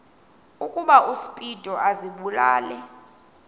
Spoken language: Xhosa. ukuba uspido azibulale